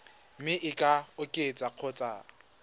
mme e ka oketswa kgotsa